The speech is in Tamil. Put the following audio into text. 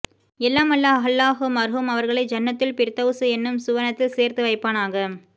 எல்லாம் வல்ல அல்லாஹ் மர்ஹூம் அவர்களை ஜன்னதுல் பிர்தௌஸ் எனும் சுவனத்தில் சேர்த்து வைப்பானாக